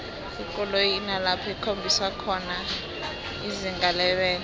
ikoloyi inalapho ikhombisa khona izinga lebelo